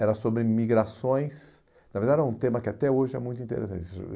era sobre migrações, na verdade era um tema que até hoje é muito interessante.